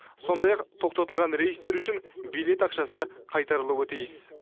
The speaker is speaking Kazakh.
сондай ақ тоқтатылған рейстер үшін билет ақшасы қайтарылуы тиіс